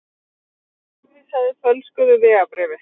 Framvísaði fölsuðu vegabréfi